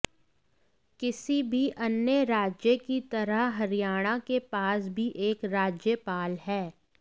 किसी भी अन्य राज्य की तरह हरियाणा के पास भी एक राज्यपाल है